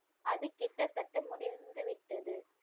அது கிட்டத்தட்ட முடிந்து விட்டது